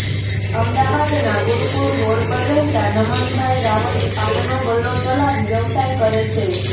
અમદાવાદના ગુરૂકૂળ રોડ પર રહેતા નમનભાઇ રાવલ પાનનો ગલ્લો ચલાવી વ્યવસાય કરે છે